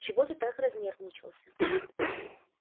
чего ты так разнервничался